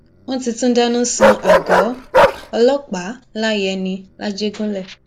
wọn ti tún dáná sun àgọ ọlọpàá láyẹni làjẹgúnlẹ